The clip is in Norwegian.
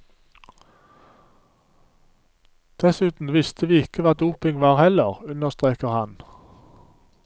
Dessuten visste vi ikke hva doping var heller, understreker han.